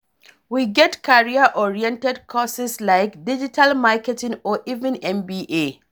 We get career oriented courses like digital marketing or even MBA